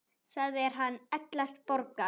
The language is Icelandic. Það er hann Ellert Borgar.